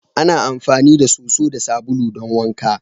Ana amfani da soso da sabulu don wanka.